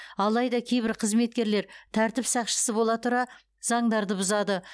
алайда кейбір қызметкерлер тәртіп сақшысы бола тұра заңдарды бұзады